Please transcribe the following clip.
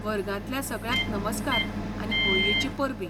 वर्गांतल्या सगळ्यांक नमस्कार आनी होळयेचीं परबीं.